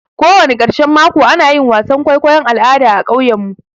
Kowani ƙarshan mako ana yin wasan kwaikwayon al'ada a ƙauyen mu.